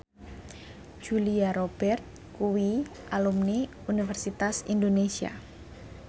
Julia Robert kuwi alumni Universitas Indonesia